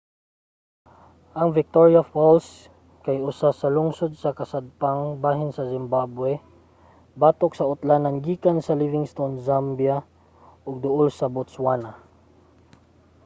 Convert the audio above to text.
ang victoria falls kay usa ka lungsod sa kasadpang bahin sa zimbabwe tabok sa utlanan gikan sa livingstone zambia ug duol sa botswana